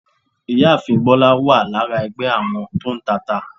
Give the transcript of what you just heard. Ìyáàfín bólá wa lára ẹgbé àwọn to ń tà ata